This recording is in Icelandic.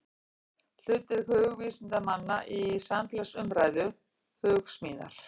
Hlutverk hugvísindamanna í samfélagsumræðu, Hugsmíðar.